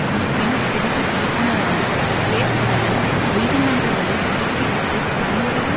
அமைப்பின் பிரிவு இயக்குனரான கேட்த் அலன் நீதிமன்றங்களை ஒதுக்கிவிட்டுத் தன்வழியில்